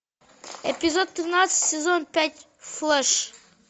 эпизод тринадцать сезон пять флэш